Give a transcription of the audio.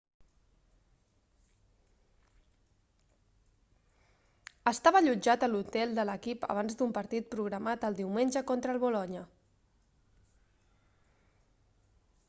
estava allotjat a l'hotel de l'equip abans d'un partit programat el diumenge contra el bolonya